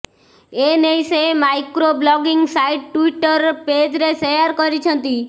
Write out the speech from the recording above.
ଏନଇ ସେ micro blogging site Twitter ପେଜ୍ରେ ସେୟାର କରିଛନ୍ତି